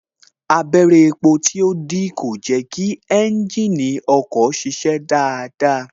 Abẹrẹ epo tó dí kò jẹ kí ẹ́ńjìnì ọkọ̀ kó ṣiṣẹ́ dáadáa